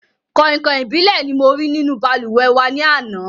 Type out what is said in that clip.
Kọ̀ìnkọ̀ìn ìbílẹ̀ ni mo rí nínú balùwẹ̀ wà ní àná